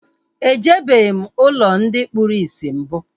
E jebeghim ụlọ ndị kpụrụ isi mbụ